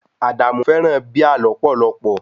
Adamu fẹràn Bíà lọ́pọ̀lọ́pọ̀.